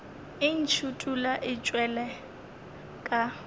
e ntšhithola e tšwela ka